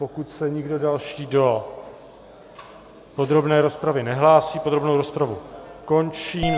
Pokud se nikdo další do podrobné rozpravy nehlásí, podrobnou rozpravu končím.